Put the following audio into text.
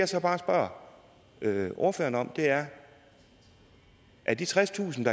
så bare spørger ordføreren om er af de tredstusind